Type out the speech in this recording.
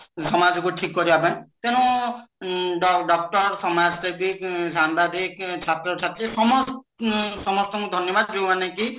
ସମାଜକୁ ଠିକ କରିବା ପାଇଁ ତେଣୁ ଉଁ ଡ doctor ସମାଜସେବୀ ସାମ୍ବାଦିକ ଛାତ୍ରଛାତ୍ରୀ ସମସ୍ତ ସମସ୍ତଙ୍କୁ ଧନ୍ୟବାଦ ଯେଉଁମାନେ କି